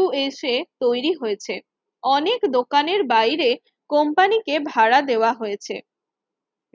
USA তৈরি হয়েছে অনেক দোকানের বাইরে কোম্পানিকে ভাড়া দেওয়া হয়েছে।